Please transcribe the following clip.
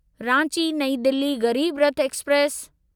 Ranchi New Delhi Garib Rath express